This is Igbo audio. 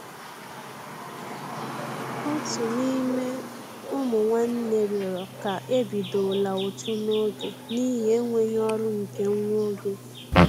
Òtù n'ime ụmụ nwánnè rịọrọ ká e bidola ụtụ n'oge n'ihi enweghị ọrụ nke nwa oge.